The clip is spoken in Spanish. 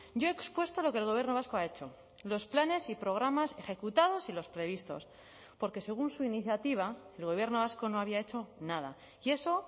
yo he expuesto lo que el gobierno vasco ha hecho los planes y programas ejecutados y los previstos porque según su iniciativa el gobierno vasco no había hecho nada y eso